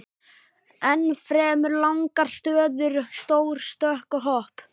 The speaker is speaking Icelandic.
Ennfremur langar stöður, stór stökk og hopp.